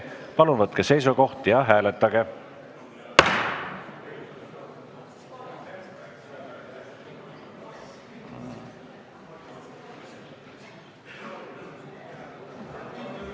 Palun võtke seisukoht ja hääletage!